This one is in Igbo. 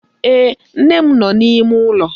Ee, nne m nọ n'ime ụlọ.